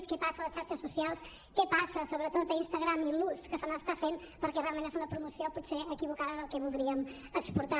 què passa a les xarxes socials què passa sobretot a instagram i l’ús que se n’està fent perquè realment és una promoció potser equivocada del que voldríem exportar